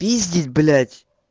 пиздить блять